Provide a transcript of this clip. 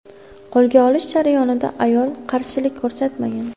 Qo‘lga olish jarayonida ayol qarshilik ko‘rsatmagan.